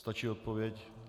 Stačí odpověď?